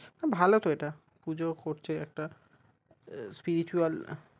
ভালো তো এটা পূজো করছে একটা spiritual